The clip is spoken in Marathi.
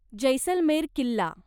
जैसलमेर किल्ला